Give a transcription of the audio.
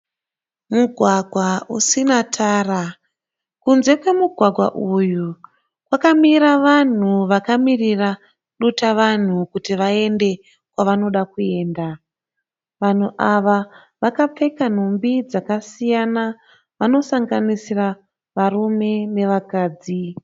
Mugwagwa usina tara kunze kwemugwagwa uyu kwamira vanhu vakamirira dutavanhu kuti vaende kwavanoda kuenda. Vanhu ava vakapfeka nhumbi dzakasiyana vanosanganisira varume nevakadzi.